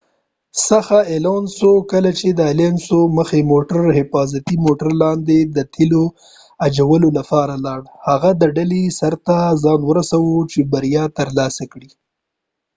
کله چې د الونسو alonso څخه مخکې موټر د حفاظتی موټر لاندې د تیلو اجولولپاره لاړ هغه د ډلې سر ته ځان ورسوه چې بریا تر لاسه کړي